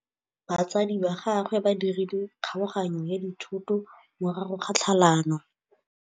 Batsadi ba gagwe ba dirile kgaoganyô ya dithoto morago ga tlhalanô.